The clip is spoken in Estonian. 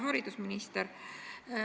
Hea haridusminister!